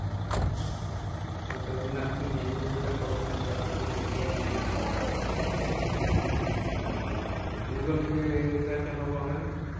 তো তাই জন্য আপনি mainly যেটা করেননি সেটা হচ্ছে পেটিএমই আচ্ছা আচ্ছা গুগুলপেটা কেন করেন?